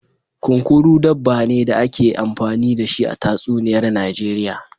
Kunkuru, dabba ne da ake yi amfani da shi a tatsuniyar Najeriya.